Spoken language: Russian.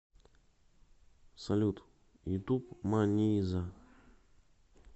салют ютуб маниза